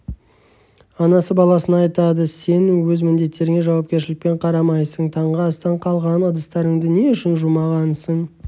анасы баласына айтады сен өз міндеттеріңе жауапкершілікпен қарамайсың таңғы астан қалған ыдыстарыңды не үшін жумағансың